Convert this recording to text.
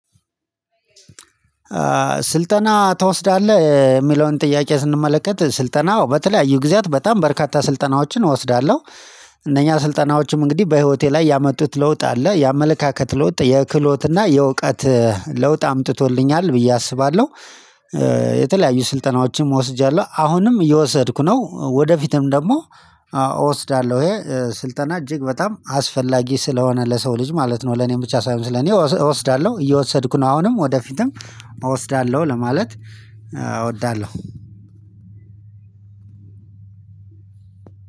ስልጠና ትወስዳለህ እጨየሚለውን ጥያቄ ስንመለከት ስልጠና በተለያዩ ጊዜያት በጣም በርካታ ስልጠናዎችን እወስዳለሁ። እነኛ ስልጠናዎችም እንግዲህ በህይወቴ ላይ ያመጡት ለውጥ አለ የአመለካከት ለውጥ የክህሎትና የእውቀት እ ለውጥ አምጥቶልኛል ብዬ አስባለሁ። እ የተለያዩ ስልጠናዎችን ወስጃለሁ አሁንም እየወሰድኩ ነው። ወደፊትም ደግሞ እ እወስዳለሁ። ይሄ ስልጠና እጅግ በጣም አስፈላጊ ስለሆነ ለሰው ልጅ ማለት ነው። ለኔ ብቻ ሳይሆን ስለኔ እወስዳለሁ እየወሰድኩ ነው አሁንም ወደፊትም እወስዳለሁ። ለማለት እ እወዳለሁ።